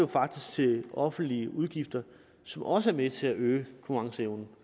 til de offentlige udgifter som også er med at til øge konkurrenceevnen